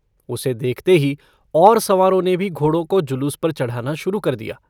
उसे देखते ही और सवारों ने भी घोड़ों को जुलूस पर चढ़ाना शुरू कर दिया।